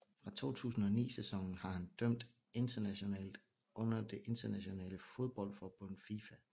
Fra 2009 sæsonen har han dømt internationalt under det internationale fodboldforbund FIFA